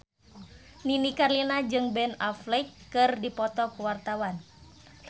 Nini Carlina jeung Ben Affleck keur dipoto ku wartawan